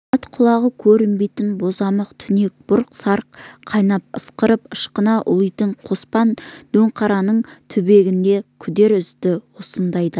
ат құлағы көрінбейтін бозамық түнек бұрқ-сарқ қайнап ысқырып ышқына ұлиды қоспан дөңқараның түбегінен күдер үзді осындайда